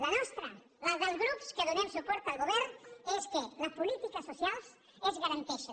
la nostra la dels grups que donem suport al govern és que les polítiques socials es garanteixen